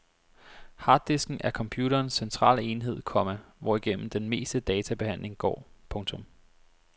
Harddisken er computerens centrale enhed, komma hvorigennem den meste databehandling går. punktum